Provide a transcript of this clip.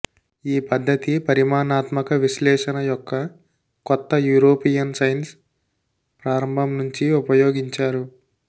ఈ పద్ధతి పరిమాణాత్మక విశ్లేషణ యొక్క కొత్త యూరోపియన్ సైన్స్ ప్రారంభం నుంచి ఉపయోగించారు